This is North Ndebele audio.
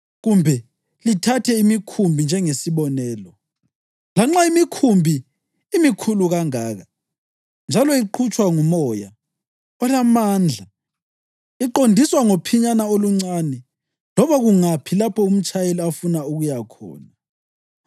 Kumbe lithathe imikhumbi njengesibonelo. Lanxa imikhulu kangaka njalo iqhutshwa ngumoya olamandla, iqondiswa ngophinyana oluncane loba kungaphi lapho umtshayeli afuna ukuya khona.